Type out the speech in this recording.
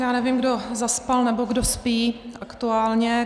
Já nevím, kdo zaspal, nebo kdo spí aktuálně.